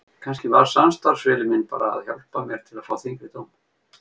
Kannski var samstarfsvilji minn bara að hjálpa mér til að fá þyngri dóm.